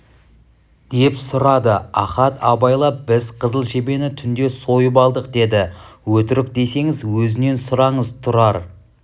деп сұрады ахат абайлап біз қызыл жебені түнде сойып алдық деді өтірік десеңіз өзінен сұраңыз тұрар